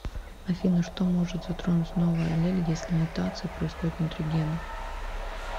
афина что может затронуть новая аллель если мутация происходит внутри гена